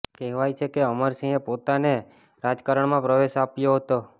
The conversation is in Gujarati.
કહેવાય છે કે અમરસિંહે તેમને રાજકારણમાં પ્રવેશ અપાવ્યો હતો